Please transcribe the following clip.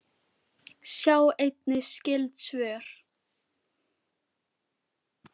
Sjá einnig skyld svör